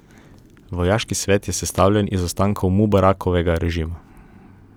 Vojaški svet je sestavljen iz ostankov Mubarakovega režima.